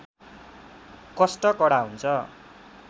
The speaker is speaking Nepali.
कष्ट कडा हुन्छ